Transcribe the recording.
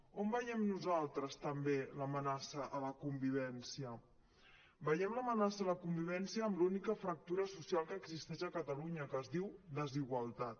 on veiem nosaltres també l’amenaça a la convivència veiem l’ame·naça a la convivència amb l’única fractura social que existeix a catalunya que es diu desigualtat